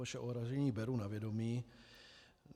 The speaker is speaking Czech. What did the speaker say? Vaše ohrazení beru na vědomí.